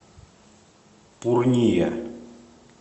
пурния